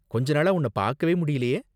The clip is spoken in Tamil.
கொஞ்ச நாளா உன்ன பாக்கவே முடியலயே?